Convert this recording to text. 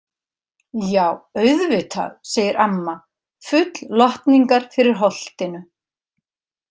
Já, auðvitað, segir amma full lotningar fyrir Holtinu.